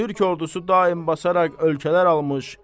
Türk ordusu daim basaraq ölkələr almış.